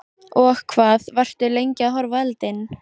Og hvað, varstu lengi að horfa á eldinn?